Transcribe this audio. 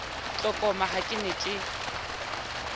tlokoma ha ke ne ke